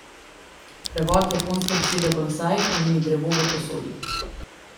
Prevod japonske besede bonsai pomeni drevo v posodi.